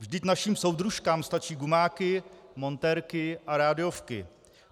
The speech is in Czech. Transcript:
Vždyť našim soudružkám stačí gumáky, montérky a rádiovky."